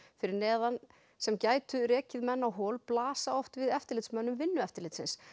fyrir neðan sem gætu rekið menn á hol blasa oft við eftirlitsmönnum við eftirlitsmönnum vinnueftirlitsins